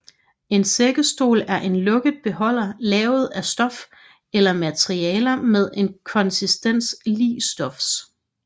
En sækkesstol er en lukket beholder lavet af stof eller materialer med en konsistens lig stofs